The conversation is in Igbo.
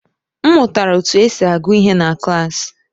M mụtara otú e si agụ ihe na klaasị.